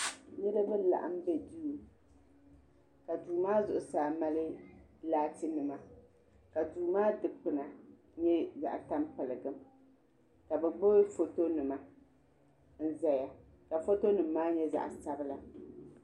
Niriba laɣim bɛ duu ka duu maa zuɣusaa mali laati nima ka duu maa dukpuna nyɛ zaɣi tampiligim ka bi gbibi foto nima n zaya ka foto nima maa nyɛ zaɣi sabila.